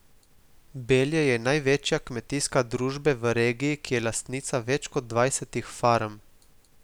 Belje je največja kmetijska družbe v regiji, ki je lastnica več kot dvajsetih farm.